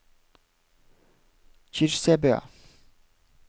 Kyrkjebø